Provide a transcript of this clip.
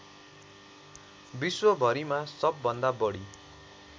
विश्वभरिमा सबभन्दा बढी